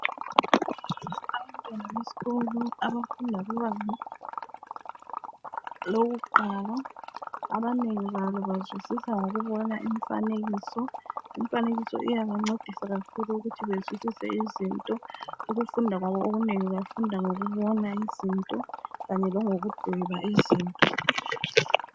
Abantwana besikolo abafunda kubanga lokuqala. Abanengi babo bazwisisa ngokubona imfanekiso. Imfanekiso iyabancedisa kakhulu ukuthi bezwisise izinto. Uufunda kwabo okunengi bafunda ngokubona izinto kanye langokudwaba izinto.